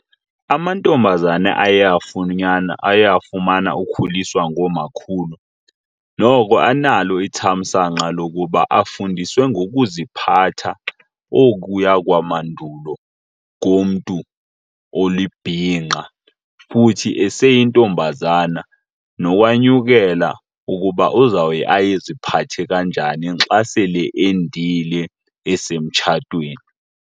Amantombazana aye , aye afumana ukhuliswa ngoomakhulu noko analo ithamsanqa lokuba afundiswe ngokuziphatha okuya lwamandulo komntu olibhinqa. Futhi eseyintombazana nokwanyukela ukuba uzawuye aziphathe kanjani xa sele endile esemtshatweni.